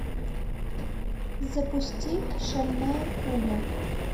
запусти шальная пуля